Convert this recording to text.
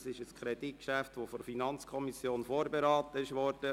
Es ist ein Kreditgeschäft, das von der FiKo vorberaten wurde.